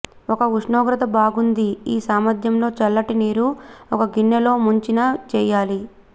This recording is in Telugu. ఒక ఉష్ణోగ్రత బాగుంది ఈ సామర్థ్యంలో చల్లటి నీరు ఒక గిన్నె లో ముంచిన చేయాలి